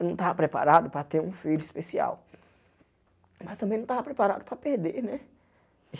Eu não tava preparado para ter um filho especial, mas também não tava preparado para perder, né?